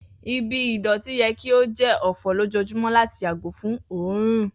Ibi idọti yẹ ki o jẹ ofo lojoojumọ lati yago fun oorun.